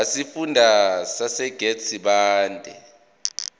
wesifunda sasegert sibande